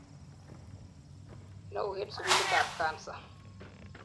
neo en sugulitab Cancer